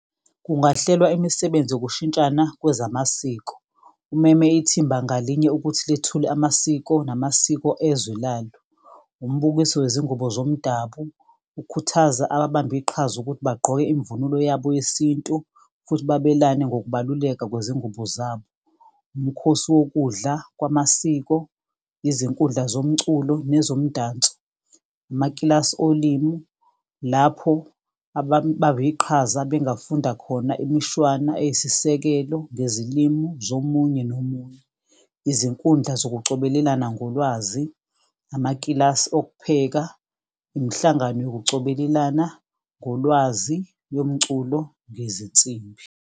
Kungahlelwa imisebenzi yokushintshana kwezamasiko. Umeme ithimba ngalinye ukuthi lethule amasiko namasiko ezwe lalo. Umbukiso wezingubo zomdabu, ukhuthaza ababambiqhaza ukuthi bagqoke imvunulo yabo yesintu. Futhi babelane ngokubaluleka kwezingubo zabo. Umkhosi wokudla kwamasiko, izinkundla zomculo, nezomdanso, amakilasi olimu. Lapho iqhaza bengafunda khona imishwana eyisisekelo ngezilimu zomunye nomunye. Izinkundla zokucobelelana ngolwazi, amakilasi okupheka, imhlangano yokucobelelana ngolwazi yomculo nezinsimbi.